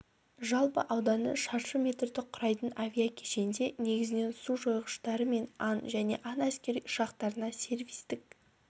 жалпы ауданы шаршы метрді құрайтын авиа-кешенде негізінен су жойғыштары мен ан және ан әскери ұшақтарына сервистік